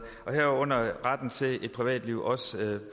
herunder retten til privatliv også